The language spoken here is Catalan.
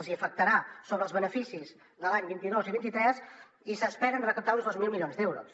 els hi afectarà sobre els beneficis de l’any vint dos i vint tres i s’esperen recaptar uns dos mil milions d’euros